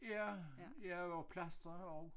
Ja ja og plastre og